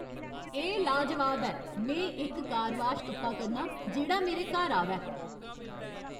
एह् लाजवाब ऐ! में इक कार वॉश तुप्पा करना आं जेह्ड़ा मेरे घर आवै।